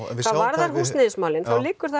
hvað varðar húsnæðismálin þá liggur það